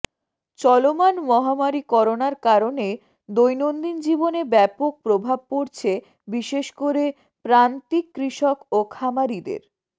চলমান মহামারি করোনার কারণে দৈনন্দিন জীবনে ব্যাপক প্রভাব পড়ছে বিশেষ করে প্রান্তিক কৃষক ও খামারিদের